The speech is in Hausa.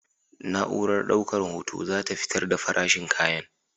Na'urar daukar hoto za ta fitar da farashin kayan.